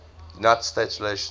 united states relations